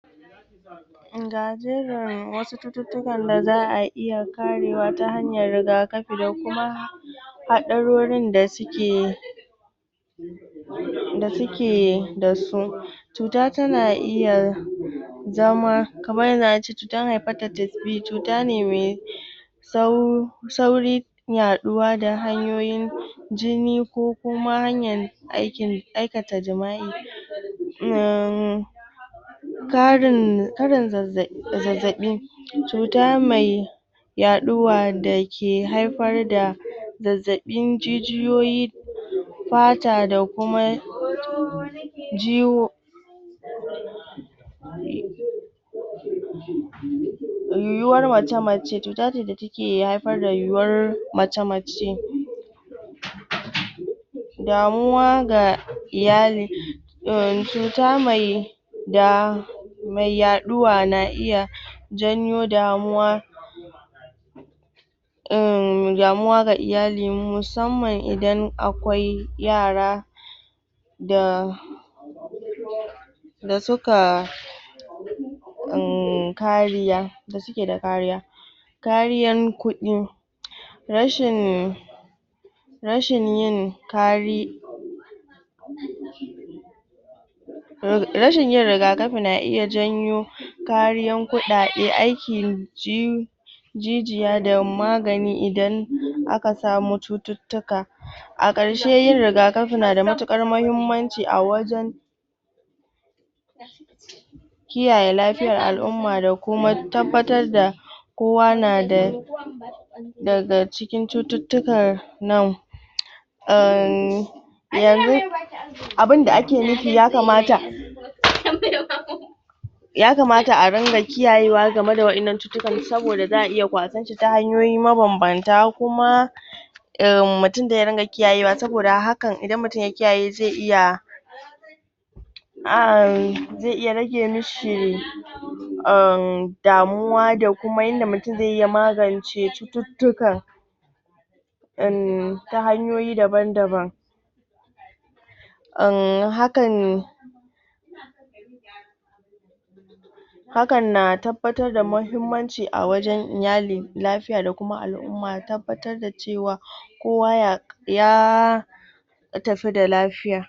Ga jerin wasu cututtukan da za a iya karewa ta hanyar rigakafi da kuma haɗarorin da suke da suke da su cuta tana iya zama kamar yanzu a ce cutar hypatitis B cuta ne me sauri yaɗuwa da hanyoyin jini ko kuma hanyan aikata jima'i? karin karin zazzaɓi cuta mai yaɗuwa da ke haifar da zazzaɓin jijiyoyi fata da kuma ji wo?? yiwuwar mace-mace cuta ce da take ke haifar da yiwuwar mace-mace? damuwa ga iyali em cuta mai da mai yaɗuwa na iya janyo damuwa em damuwa ga iyali musamman idan akwai yara da da su ka emmmm kariya da suke da kariya kariyar kuɗi rashin rashin yin kari... rashin yin rigakafi na iya janyo kariyan kuɗaɗe aiki? jijiya da magani idan aka samu cututtuka a ƙarshe yin rigakafi na da matuƙar mahimmanci a wajen kiyaye lafiyar al'umma da kuma tabbatar da kowa na da daga cikin cututtukan nan emmmmmm yanzu abin da ake nufi ya kamata? ya kamata a rinƙa kiyayewa game ga waɗannan cututtukan saboda za a iya kwasan shi ta hanyoyi mabambanta kuma emm mutum dai ya dinga kiyayewa hakan idan mutum ya kiyaye zai iya emmmmm zai iya rage mi shi emmm damuwa da kuma yanda mutum zai yi ya magance cututtukan emmmm ta hanyoyi daban-daban emmm hakan hakan na tabbatar da mahimmanci a wajen iyali lafiya da kuma al'umma tabbatar da cewa kowa ya yaaaa